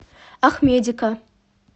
ахмедика